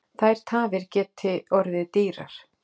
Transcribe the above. Þær tafir geti orðið dýrar.